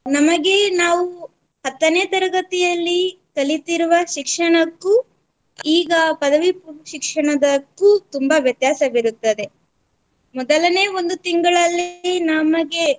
ನಮಗೆ ನಾವು ಹತ್ತನೇ ತರಗತಿಯಲ್ಲಿ ಕಲಿತಿರುವ ಶಿಕ್ಷಣಕ್ಕೂ ಈಗ ಪದವಿ ಪೂರ್ವ ಶಿಕ್ಷಣದಕ್ಕೂ ತುಂಬಾ ವ್ಯತ್ಯಾಸವಿರುತ್ತದೆ. ಮೊದಲನೇ ಒಂದು ತಿಂಗಳಲ್ಲಿ ನಮಗೆ